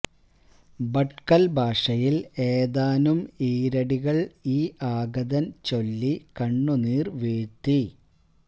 ഭട്കൽ ഭാഷയിൽ ഏതാനും ഈരടികൾ ഈ ആഗതൻ ചൊല്ലി കണ്ണുനീർ വീഴ്ത്തി